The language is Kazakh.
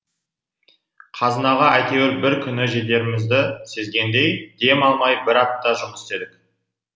қазынаға әйтеуір бір күні жетерімізді сезгендей дем алмай бір апта жұмыс істедік